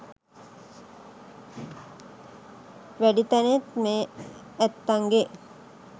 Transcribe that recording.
වැඩි තැනෙන් මේ ඇත්තන්ගේ